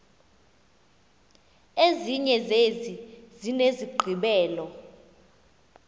ezinye zezi zinesigqibelo